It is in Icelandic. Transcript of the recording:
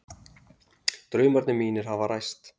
Draumarnir mínir hafa ræst